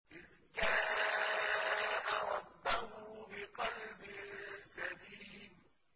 إِذْ جَاءَ رَبَّهُ بِقَلْبٍ سَلِيمٍ